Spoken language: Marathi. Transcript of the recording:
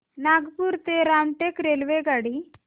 नागपूर ते रामटेक रेल्वेगाडी